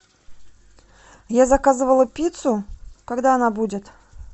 я заказывала пиццу когда она будет